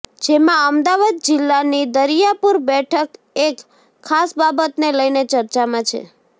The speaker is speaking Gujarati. જેમાં અમદાવાદ જીલ્લાની દરિયાપુર બેઠક એક ખાસ બાબતને લઈને ચર્ચામાં છે